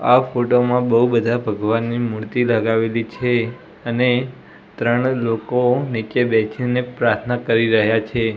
આ ફોટો માં બૌ બધા ભગવાનની મૂર્તિ લગાવેલી છે અને ત્રણ લોકો નીચે બેસીને પ્રાર્થના કરી રહ્યા છે.